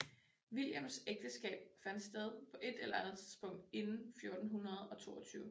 Williams ægteskab fandt sted på et eller andet tidspunkt inden 1422